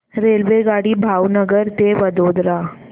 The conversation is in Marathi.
रेल्वेगाडी भावनगर ते वडोदरा